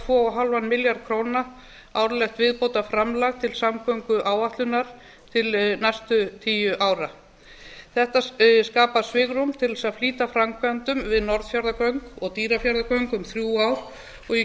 komma fimm milljarða króna árlegt viðbótarframlag til samgönguáætlunar til næstu tíu ára þetta skapar svigrúm til að flýta framkvæmdum við norðfjarðargöng og dýrafjarðargöng um þrjú ár og